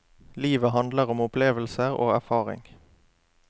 Livet handler om opplevelser og erfaring.